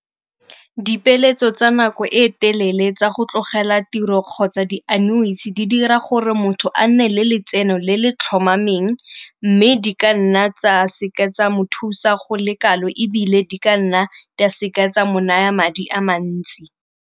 Dipeeletso tsa nako e telele tsa go tlogela tiro kgotsa di di dira gore motho a nne le letseno le le tlhomameng, mme di ka nna tsa seke tsa mo thusa go le kalo ebile di ka nna di a seke tsa mo naya madi a mantsi.